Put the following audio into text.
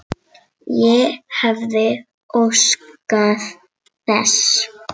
Ég hefði óskað þess.